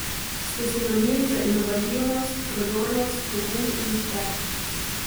Ste sinonim za inovativnost, prodornost, pogum in uspeh.